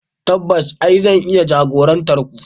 Tabbas e, zan iya jagorantar ku.